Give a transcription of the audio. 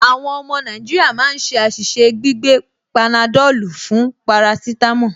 Àwọn ọmọ Nàìjíríà máa ń ṣe àṣìṣe gbígbé panadọ́lù fún parasítámọ̀